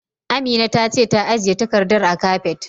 Amina ta ce ta ajiye takardar a kabet.